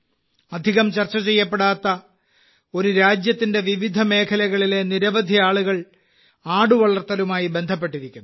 അധികം ചർച്ച ചെയ്യപ്പെടാത്ത ഒരു രാജ്യത്തിന്റെ വിവിധ മേഖലകളിലെ നിരവധി ആളുകൾ ആടുവളർത്തലുമായി ബന്ധപ്പെട്ടിരിക്കുന്നു